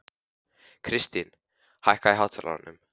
Kristrún, hækkaðu í hátalaranum.